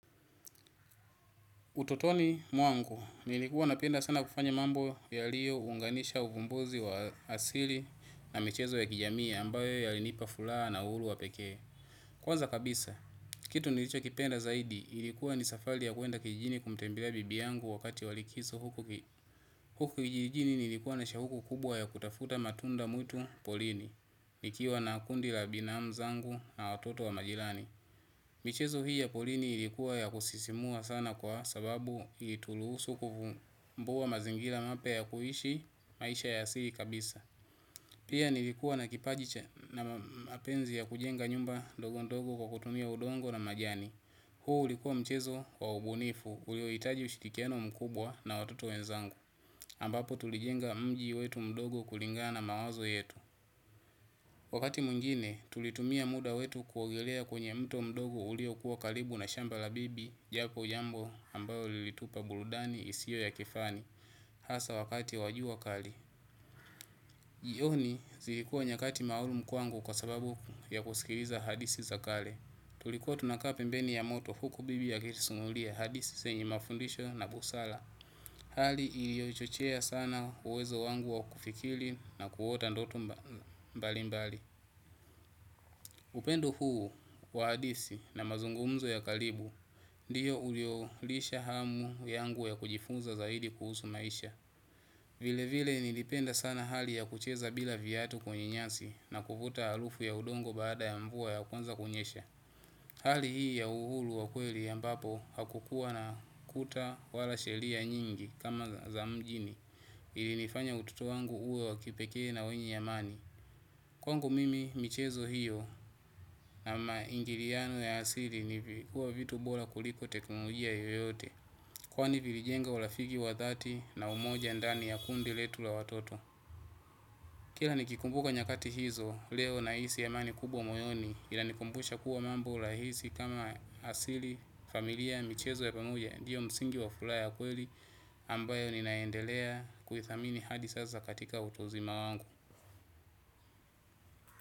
Utotoni mwangu, nilikuwa napenda sana kufanya mambo ya liyo unganisha uvumbuzi wa asili na michezo ya kijamii ambayo ya linipa fulaa na ulu wa pekee. Kwanza kabisa, kitu nilicho kipenda zaidi, ilikuwa nisafali ya kuenda kijini kumtembelea bibi yangu wakati walikiso huku kijijini nilikuwa na shahuku kubwa ya kutafuta matunda mwitu polini. Nikiwa na kundi la binamu zangu na watoto wa majilani. Michezo hii ya porini ilikuwa ya kusisimua sana kwa sababu ilituruhusu kuvumbua mazingira mapya ya kuishi maisha ya asili kabisa. Pia nilikuwa na kipaji na mapenzi ya kujenga nyumba ndogo ndogo kwa kutumia udongo na majani. Huo ulikuwa mchezo wa ubunifu uliohitaji ushirikiano mkubwa na watoto wenzangu ambapo tulijenga mji wetu mdogo kulingana na mawazo yetu. Wakati mwingine, tulitumia muda wetu kuogelea kwenye mto mdogo uliokuwa karibu na shamba la bibi, japo jambo ambayo lilitupa burudani isiyo ya kifani, hasa wakati wa jua kali. Jioni, zilikuwa nyakati maalumu kwangu kwa sababu ya kusikiliza hadithi za kale. Tulikuwa tunakaa pembeni ya moto huku bibi akitusimulia hadithi zenye mafundisho na busara. Hali iliyochochea sana uwezo wangu wa kufikiri na kuota ndoto mbalimbali. Upendo huu wa hadithi na mazungumzo ya karibu ndiyo uliyolisha hamu yangu ya kujifunza zaidi kuhusu maisha. Vile vile nilipenda sana hali ya kucheza bila viatu kwenye nyasi na kuvuta harufu ya udongo baada ya mvua inapoanza kunyesha. Hali hii ya uhuru wa kweli ambapo hakukuwa na kuta wala sheria nyingi kama za mjini ilinifanya utoto wangu uwe wa kipekee na wenye amani. Kwangu mimi michezo hiyo na maingiliano ya asili huwa vitu bora kuliko teknolojia yoyote kwani vilijenga urafiki wa dhati na umoja ndani ya kundi letu la watoto. Kila nikikumbuka nyakati hizo leo nahisi amani kubwa moyoni inanikumbusha kuwa mambo rahisi kama asili familia michezo ya pamoja ndio msingi wa furaha ya kweli ambayo ninaendelea kuithamini hadi sasa katika utuuzima wangu.